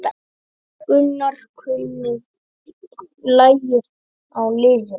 Gunnar kunni lagið á liðinu.